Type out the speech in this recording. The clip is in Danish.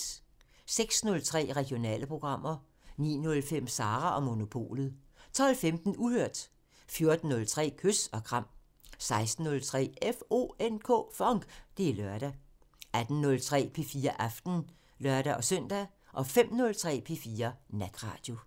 06:03: Regionale programmer 09:05: Sara & Monopolet 12:15: Uhørt 14:03: Kys og kram 16:03: FONK! Det er lørdag 18:03: P4 Aften (lør-søn) 05:03: P4 Natradio